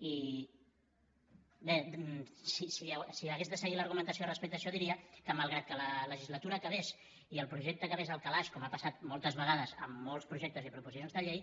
i bé si hagués de seguir l’argumentació respecte a això diria que malgrat que la legislatura acabés i el projecte acabés al calaix com ha passat moltes vegades amb molts projectes i proposicions de llei